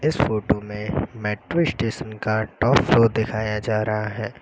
इस फोटो में metro station का टॉप फ्लोर दिखाया जा रहा है।